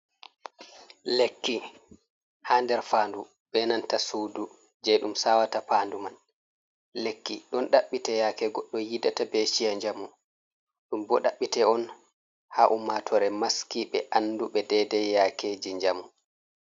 Lekki ha nder fandu, benanta sudu je ɗum sawata fandu man, lekki ɗon ɗaɓɓi te yake goddo yiɗata be chiya jamu, ɗum bo ɗaɓɓi te on ha ummatore maski be anduɓe dedei yakeji jamu.